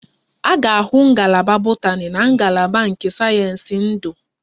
A ga-ahụ Ngalaba botani na ngalaba nke sayensị ndu